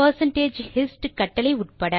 percentage hist கட்டளை உட்பட